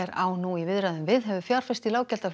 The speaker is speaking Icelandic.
á nú í viðræðum við hefur fjárfest í